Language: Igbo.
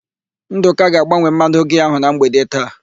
Ndụka ga-agbanwe mmanụ giaa ahụ na mgbede taa.